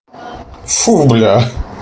фу бля